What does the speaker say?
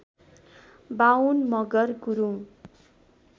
Bahun Magar Gurung